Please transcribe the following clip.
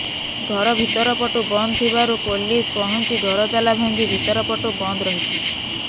ଘର ଭିତର ପଟୁ ବନ୍ଦ ଥିବାରୁ ପୋଲିସ ପହଞ୍ଚି ଘର ତାଲା ଭାଙ୍ଗି ଭିତର ପଟୁ ବନ୍ଦ ରହିଥିଲା